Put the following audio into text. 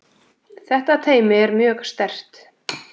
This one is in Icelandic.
Þetta teymi er mjög sterkt.